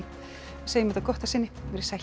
segjum þetta gott að sinni veriði sæl